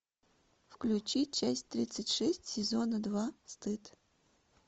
включи часть тридцать шесть сезона два стыд